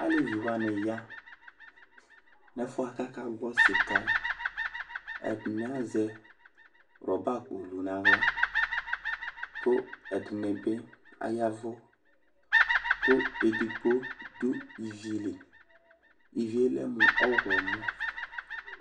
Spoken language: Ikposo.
Aleviwani ya n'ɛfʋ yɛ k'aka gbɔ sika yɛ Ɛdini azɛ ruber akpo dʋ n'aɣla, kʋ ɛdini bi ayavʋ, kʋ edigbo dʋ ivili, Ivi yɛ kɛ mʋ ɔɣlɔmɔ